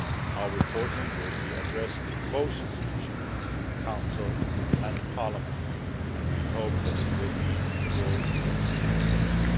Our reporting will be addressed to both institutions, Council and Parliament, and we hope that it will be to your joint satisfaction.